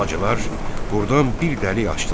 Bacılar burdan bir dəlik açdılar.